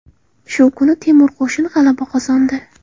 Shu kuni Temur qo‘shini g‘alaba qozondi.